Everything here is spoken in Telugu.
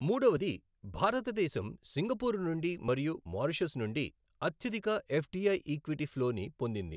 మూడవది భారతదేశం సింగపూర్ నుండి మరియు మారిషస్ నుండి అత్యధిక ఎఫ్డిఐ ఈక్విటీ ప్లోని పొందింది.